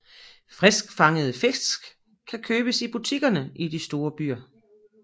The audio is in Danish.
Friskfangede fisk kan købes i butikkerne i de store byer